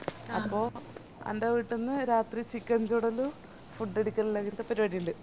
അപ്പൊ അന്റെ വീട്ടീന്ന് രാത്രി chicken ചുടലും food അടിക്കലും അങ്ങത്തെ പരിപാടി ഇണ്ട്